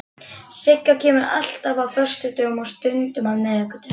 Sigga kemur alltaf á föstudögum og stundum á miðvikudögum.